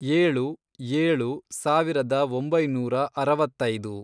ಏಳು, ಏಳು, ಸಾವಿರದ ಒಂಬೈನೂರ ಅರವತ್ತೈದು